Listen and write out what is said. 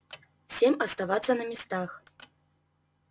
всем оставаться на местах